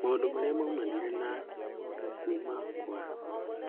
Maũndũ marĩa maumanire na kuma kwa